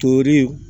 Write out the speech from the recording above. Tori